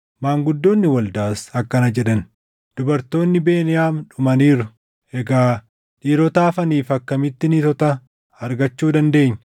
Maanguddoonni waldaas akkana jedhan; “Dubartoonni Beniyaam dhumaniiru; egaa dhiirota hafaniif akkamitti niitota argachuu dandeenya?